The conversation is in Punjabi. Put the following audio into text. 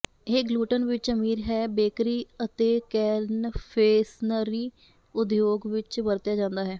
ਇਹ ਗਲੁਟਨ ਵਿੱਚ ਅਮੀਰ ਹੈ ਬੇਕਰੀ ਅਤੇ ਕੈਨਫੇਸਨਰੀ ਉਦਯੋਗ ਵਿੱਚ ਵਰਤਿਆ ਜਾਂਦਾ ਹੈ